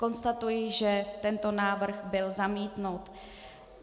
Konstatuji, že tento návrh byl zamítnut.